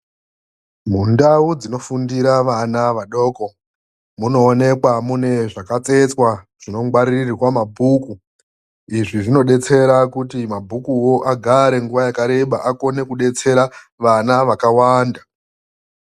Mundau dzinofundira vana vadoko munoonekwa mune zvakatsetswa zvinongwaririrwa mabhuku. Izvi zvinobetsera kuti mabhukuwo agare nguva yakareba akone kubetsera vana vakawanda.